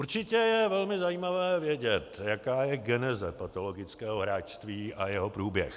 Určitě je velmi zajímavé vědět, jaká je geneze patologického hráčství a jeho průběh.